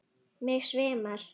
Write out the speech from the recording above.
Mig svimar.